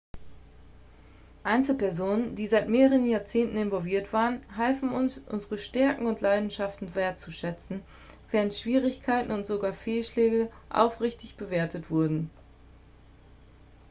einzelpersonen die seit mehreren jahrzehnten involviert waren halfen uns unsere stärken und leidenschaften wertzuschätzen während schwierigkeiten und sogar fehlschläge aufrichtig bewertet wurden